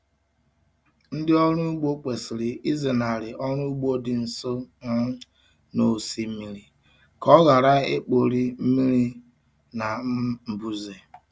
Ndị ọrụ ugbo kwesịrị ịzenarị ọrụ ugbo dị nso um na osimiri ka ọ ghara ikpori mmiri na um mbuze.